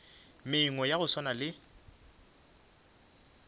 mengwe ya go swana le